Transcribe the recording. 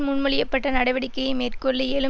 முன்மொழிய பட்ட நடவடிக்கையை மேற்கொள்ள இயலும்